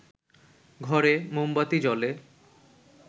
ঘরে মোমবাতি জ্বলে